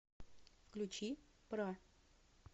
включи бра